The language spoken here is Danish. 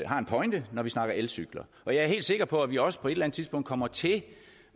har en pointe når vi snakker elcykler og jeg er helt sikker på at vi også på et eller andet tidspunkt kommer til